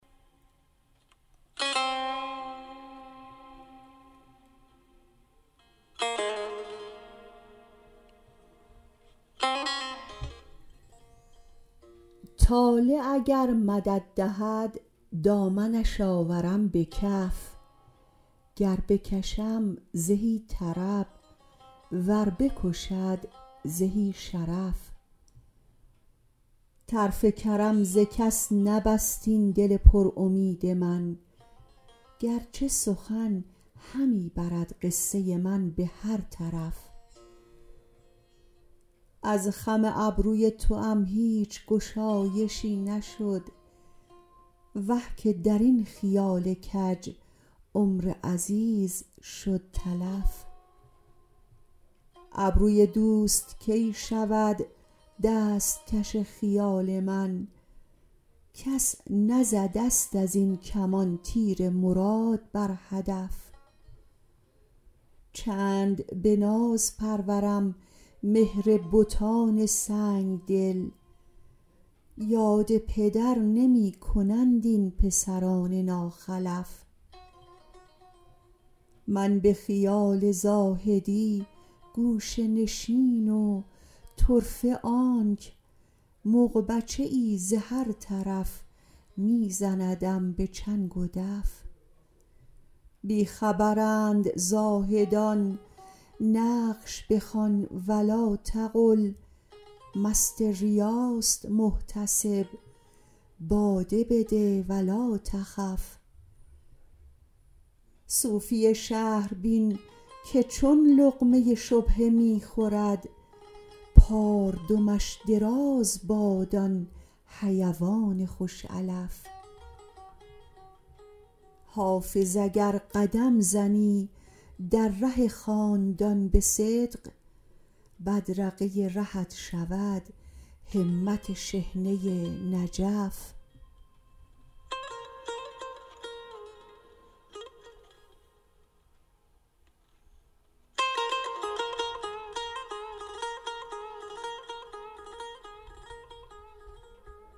طالع اگر مدد دهد دامنش آورم به کف گر بکشم زهی طرب ور بکشد زهی شرف طرف کرم ز کس نبست این دل پر امید من گر چه سخن همی برد قصه من به هر طرف از خم ابروی توام هیچ گشایشی نشد وه که در این خیال کج عمر عزیز شد تلف ابروی دوست کی شود دست کش خیال من کس نزده ست از این کمان تیر مراد بر هدف چند به ناز پرورم مهر بتان سنگ دل یاد پدر نمی کنند این پسران ناخلف من به خیال زاهدی گوشه نشین و طرفه آنک مغبچه ای ز هر طرف می زندم به چنگ و دف بی خبرند زاهدان نقش بخوان و لاتقل مست ریاست محتسب باده بده و لاتخف صوفی شهر بین که چون لقمه شبهه می خورد پاردمش دراز باد آن حیوان خوش علف حافظ اگر قدم زنی در ره خاندان به صدق بدرقه رهت شود همت شحنه نجف